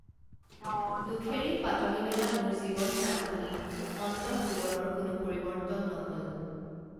দুখেৰেই পাতনি মেলা মোৰ জীৱন নাটখনিত অন্তঃজীৱনৰ কোনো পৰিবৰ্ত্তন নহল